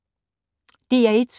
DR1